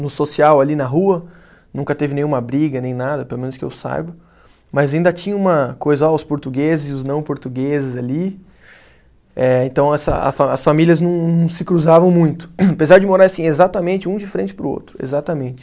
no social ali na rua, nunca teve nenhuma briga, nem nada, pelo menos que eu saiba, mas ainda tinha uma coisa, ó os portugueses e os não portugueses ali, eh então essa a fa, as famílias não se cruzavam muito, apesar de morar assim, exatamente um de frente para o outro, exatamente.